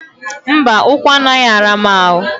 Mba, ụkwụ anaghị ara m ahụ